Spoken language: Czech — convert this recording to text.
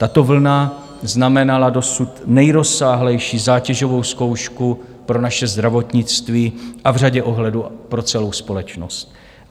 Tato vlna znamenala dosud nejrozsáhlejší zátěžovou zkoušku pro naše zdravotnictví a v řadě ohledů pro celou společnost.